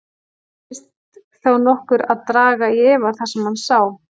Dirfist þá nokkur að draga í efa það sem hann sá?